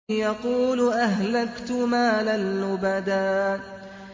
يَقُولُ أَهْلَكْتُ مَالًا لُّبَدًا